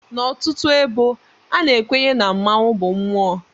N'ọtụtụ ebo, a na-ekwenye na mmanwụ bụ mmụọ.